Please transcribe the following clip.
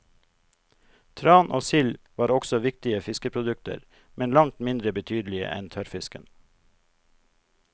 Tran og sild var også viktige fiskeprodukter, men langt mindre betydelige enn tørrfisken.